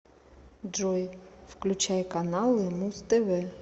джой включай каналы муз тв